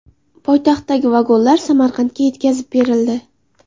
Poytaxtdagi vagonlar Samarqandga yetkazib berildi.